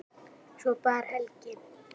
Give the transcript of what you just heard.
Svo bar Helgi